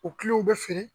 U kilo bɛ feere